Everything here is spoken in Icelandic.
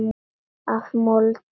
Af mold.